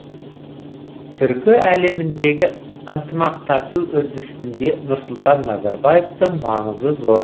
түркі әлеміндегі ынтымақтасу үрдісінде нұрсұлтан назарбаевтың маңызы зор